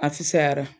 A fisayara